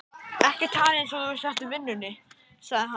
Ekki tala eins og þú sért í vinnunni, sagði hann.